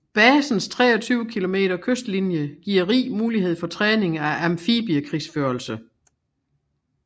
Basens 23 km kystlinje giver rig mulighed for træning af amfibiekrigsførelse